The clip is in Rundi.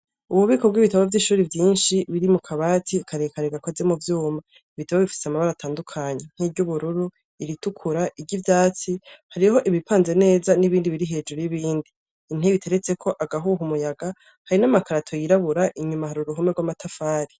Ububiko bw'ibitabo vy'ishuri vyinshi biri mu kabati akarekare gakoze mu vyuma ibitabo bifise amabara atandukanyi nk'iryo ubururu iritukura iryo ivyatsi hariho ibipanze neza n'ibindi biri hejuru y'ibindi intebe iteretseko agahuha umuyaga hari n'amakarato yirabura inyuma ahara uruhume rw'amatafari.